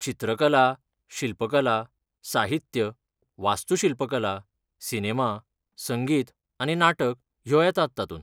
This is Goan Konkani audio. चित्रकला, शिल्पकला, साहित्य, वास्तूशिल्पकला, सिनेमा, संगीत आनी नाटक ह्यो येतात तातूंत.